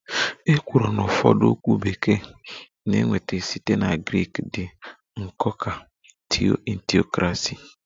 "E kwuru na ụfọdụ okwu Bekee na-enweta site na Grik dị nnọọ ka""Theo"""in theocracy"